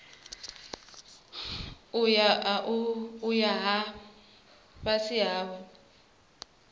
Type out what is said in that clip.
ayo a vha fhasi hawe